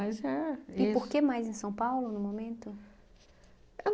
é isso. E por que mais em São Paulo, no momento? Ah